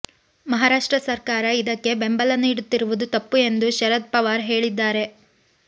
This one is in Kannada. ಮಹಾರಾಷ್ಟ್ರ ಸರ್ಕಾರ ಇದಕ್ಕೆ ಬೆಂಬಲ ನೀಡುತ್ತಿರುವುದು ತಪ್ಪು ಎಂದು ಶರದ್ ಪವಾರ್ ಹೇಳಿದ್ದಾರೆ